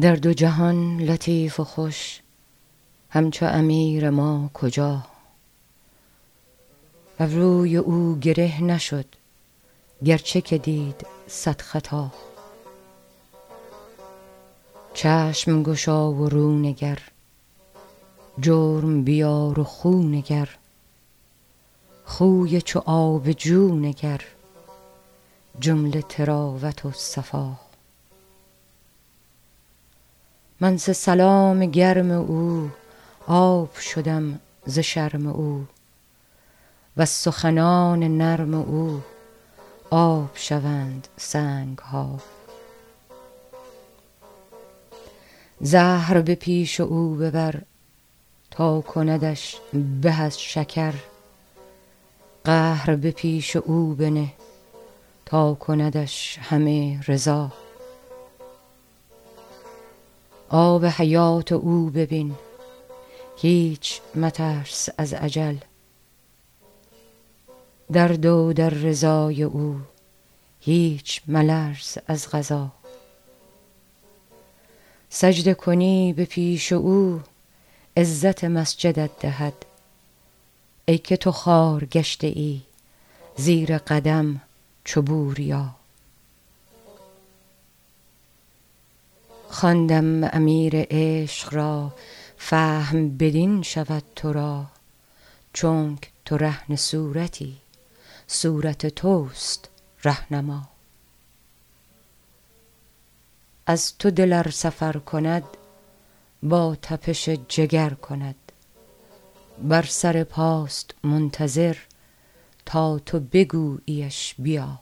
در دو جهان لطیف و خوش همچو امیر ما کجا ابروی او گره نشد گرچه که دید صد خطا چشم گشا و رو نگر جرم بیار و خو نگر خوی چو آب جو نگر جمله طراوت و صفا من ز سلام گرم او آب شدم ز شرم او وز سخنان نرم او آب شوند سنگ ها زهر به پیش او ببر تا کندش به از شکر قهر به پیش او بنه تا کندش همه رضا آب حیات او ببین هیچ مترس از اجل در دو در رضای او هیچ ملرز از قضا سجده کنی به پیش او عزت مسجدت دهد ای که تو خوار گشته ای زیر قدم چو بوریا خواندم امیر عشق را فهم بدین شود تو را چونک تو رهن صورتی صورت توست ره نما از تو دل ار سفر کند با تپش جگر کند بر سر پاست منتظر تا تو بگوییش بیا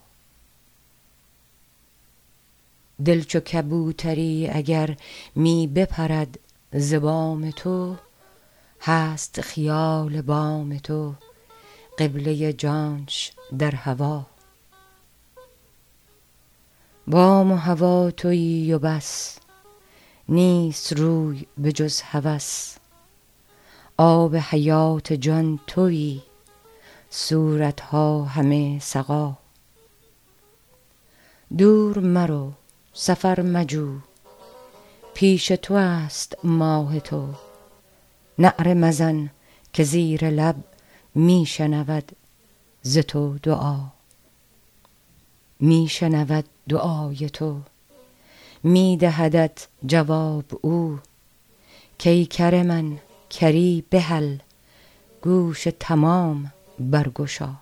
دل چو کبوتری اگر می بپرد ز بام تو هست خیال بام تو قبله جانش در هوا بام و هوا توی و بس نیست روی بجز هوس آب حیات جان توی صورت ها همه سقا دور مرو سفر مجو پیش تو است ماه تو نعره مزن که زیر لب می شنود ز تو دعا می شنود دعای تو می دهدت جواب او کای کر من کری بهل گوش تمام برگشا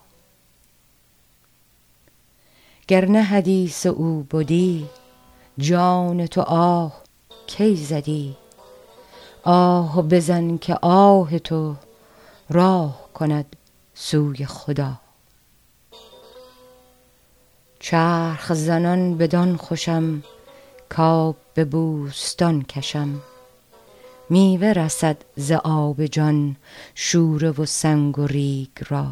گر نه حدیث او بدی جان تو آه کی زدی آه بزن که آه تو راه کند سوی خدا چرخ زنان بدان خوشم کآب به بوستان کشم میوه رسد ز آب جان شوره و سنگ و ریگ را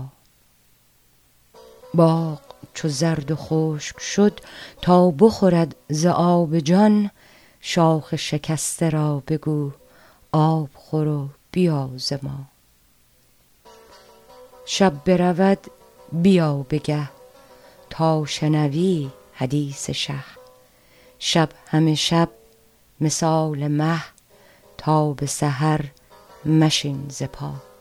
باغ چو زرد و خشک شد تا بخورد ز آب جان شاخ شکسته را بگو آب خور و بیازما شب برود بیا به گه تا شنوی حدیث شه شب همه شب مثال مه تا به سحر مشین ز پا